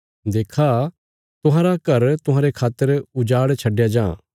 देक्खा तुहांरा घर तुहांरे खातर उजाड़ छड्डया जां